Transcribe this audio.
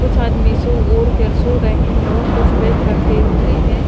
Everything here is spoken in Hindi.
कुछ आदमी सो ओढ़ कर सो रहे हैं और कुछ बेख रखे हुए हैं।